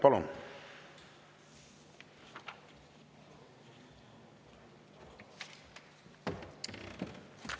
Palun!